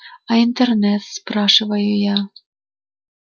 а интернет спрашиваю я